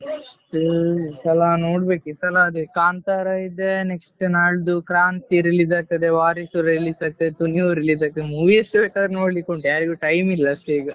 Next ಈ ಸಲ ನೋಡ್ಬೇಕ್ ಈ ಸಲ ಅದೇ ಕಾಂತಾರ ಇದೇ next ನಾಡ್ದು ಕ್ರಾಂತಿ release ಆಗ್ತದೆ வாரிசு release ಆಗ್ತದೆ release ಆಗ್ತದೆ movies ಎಷ್ಟ್ ಬೇಕಾದ್ರೂ ನೋಡ್ಲಿಕ್ಕೆ ಉಂಟು ಯಾರಿಗೂ time ಇಲ್ಲ ಅಷ್ಟೇ ಈಗ.